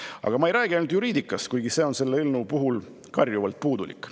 Aga ma ei räägi ainult juriidikast, kuigi see on selle eelnõu puhul karjuvalt puudulik.